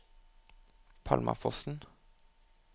Palmafossen